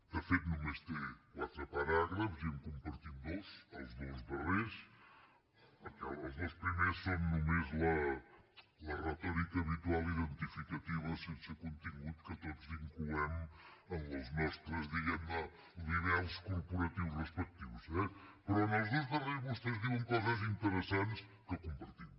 de fet només té quatre paràgrafs i en compartim dos els dos darrers perquè els dos primers són només la retòrica habitual identificativa sense contingut que tots incloem en els nostres diguem ne libels corporatius respectius eh però en el dos darrers vostès diuen coses interessant que compartim